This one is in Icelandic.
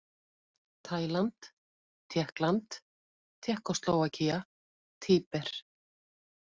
Tæland, Tékkland, Tékkóslóvakía, Tíber